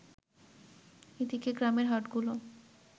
এদিকে, গ্রামের হাটগুলো